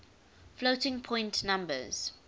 floating point numbers